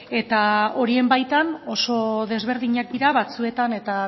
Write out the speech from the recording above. eta horien baitan oso desberdinak dira batzuetan eta